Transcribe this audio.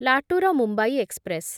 Latur Mumbai express